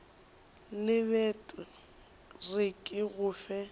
lebet re ke go fe